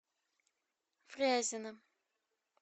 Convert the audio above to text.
фрязино